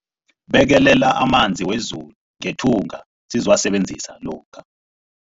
Bekelela amanzi wezulu ngethunga sizowasebenzisa lokha.